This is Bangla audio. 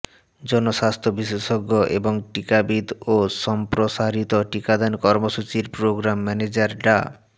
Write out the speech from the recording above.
জনস্বাস্থ্য বিশেষজ্ঞ এবং টিকাবিদ ও সম্প্রসারিত টিকাদান কর্মসূচির প্রোগ্রাম ম্যানেজার ডা